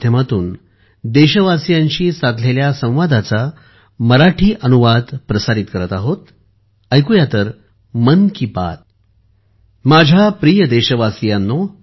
माझ्या प्रिय देशवासियांनो